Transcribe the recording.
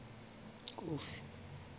kofi